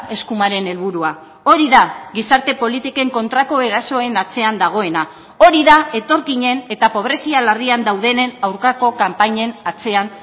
eskumaren helburua hori da gizarte politiken kontrako erasoen atzean dagoena hori da etorkinen eta pobrezia larrian daudenen aurkako kanpainen atzean